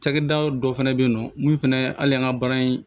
Cakɛda dɔ fɛnɛ bɛ yen nɔ mun fɛnɛ hali an ka baara in